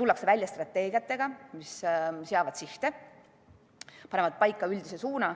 tullakse välja strateegiatega, mis seavad sihte, panevad paika üldise suuna.